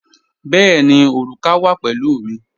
Bẹ̀ẹ̀ni, orúkà wa pẹ̀lú mi.